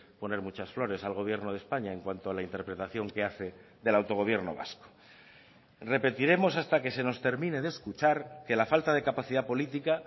poner muchas flores al gobierno de españa en cuanto a la interpretación que hace del autogobierno vasco repetiremos hasta que se nos termine de escuchar que la falta de capacidad política